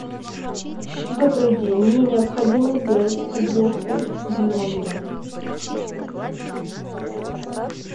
добрый день мне необходимо сделать уборку в номере